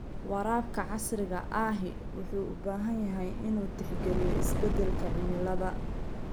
Waraabka casriga ahi wuxuu u baahan yahay inuu tixgeliyo isbeddelka cimilada.